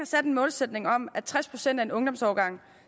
sat en målsætning om at tres procent af en ungdomsårgang